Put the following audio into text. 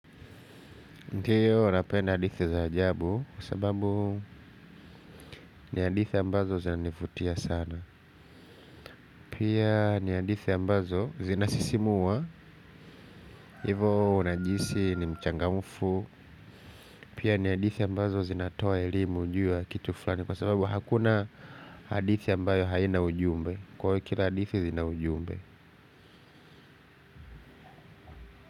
Ndiyo napenda hadithi za ajabu kwa sababu ni hadithi ambazo zinanivutia sana. Pia ni hadithi ambazo zinasisimua. Hivo unajihisi ni mchangamfu. Pia ni hadithi ambazo zinatoa elimu juu ya kitu fulani kwa sababu hakuna hadithi ambayo haina ujumbe. Kwa hio kila hadithi zina ujumbe.